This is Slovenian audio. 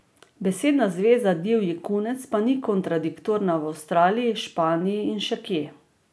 Besedna zveza divji kunec pa ni kontradiktorna v Avstraliji, Španiji in še kje.